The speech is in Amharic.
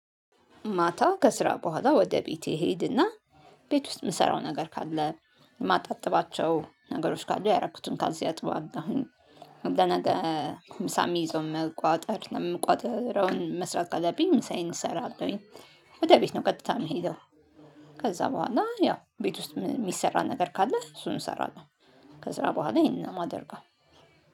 ማታ ከስራ በኋላ ወደ ቤቴ እሄድና ቤት ውስጥ የምሰራው ነገር ካለ ማጣጥባቸው ነገሮች ካሉ ያደረኩትን ካልሲ አጥባለሁኝ። ለነገ ምሳ ምይዘውን መቋጠር ለምቋጥረው መስራት አለብኝ ምሳዬን እሰራለሁኝ። ወደ ቤት ነው ቀጥታ የምሄደው። ከዛ በኋላ ያው ቤት ውስጥ የሚሰራ ነገር ካለ እሱን እሰራለሁ። ከስራ በኋላ ይሄንን ነው ማደርጋም።